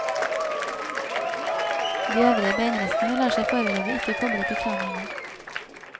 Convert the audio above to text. De øvrige beinrestene lar seg foreløpig ikke koble til kraniene.